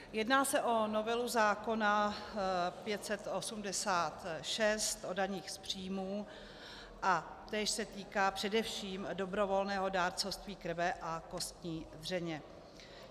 Jedná se o novelu zákona 586 o daních z příjmů a též se týká především dobrovolného dárcovství krve a kostní dřeně.